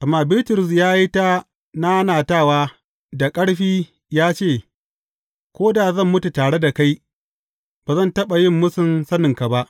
Amma Bitrus ya yi ta nanatawa da ƙarfi ya ce, Ko da zan mutu tare da kai, ba zan taɓa yin mūsun saninka ba.